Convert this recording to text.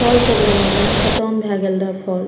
फल सब लेना रहे खत्म भए गेल रहे फल ।